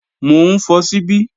Mò ń fọ ṣíbí